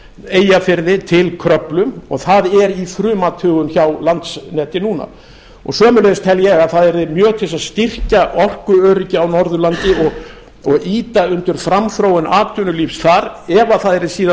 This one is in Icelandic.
eyjafirði til kröflu það er í frumathugun hjá landsneti núna sömuleiðis tel ég að það yrði mjög til að styrkja orkuöryggi á norðurlandi og ýta undir framþróun atvinnulífs þar ef þar yrði síðan